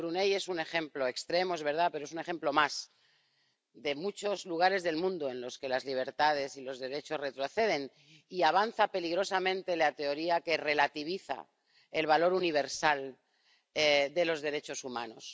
Pero Brunéi es un ejemplo extremo —es verdad—, pero es un ejemplo más de muchos lugares del mundo en los que las libertades y los derechos retroceden, y de que avanza peligrosamente la teoría que relativiza el valor universal de los derechos humanos.